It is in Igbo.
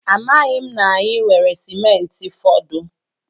Amaghị m na anyị nwere simenti fọdụ.